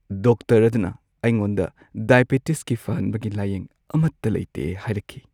Doctor ꯑꯗꯨꯅ ꯑꯩꯉꯣꯟꯗ ꯗꯥꯏꯕꯤꯇꯤꯁꯀꯤ ꯐꯍꯟꯕꯒꯤ ꯂꯥꯌꯦꯡ ꯑꯃꯠꯇ ꯂꯩꯇꯦ ꯍꯥꯏꯔꯛꯈꯤ꯫